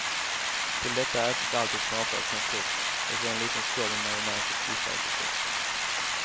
Till detta ätes alltid knapriga pommes frites och så en liten skål med majonnäs att dippa i förstås.